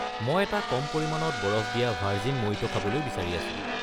মই এটা কম পৰিমাণত বৰফ দিয়া ভাৰ্জিন ম’ইট' খাবলৈ বিচাৰি আছো।